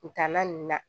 Kuntaala nunnu na